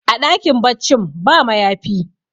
a dakin baccin ba mayafi